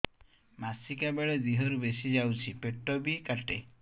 ମାସିକା ବେଳେ ଦିହରୁ ବେଶି ଯାଉଛି ପେଟ ବି କାଟେ